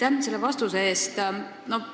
Aitäh selle vastuse eest!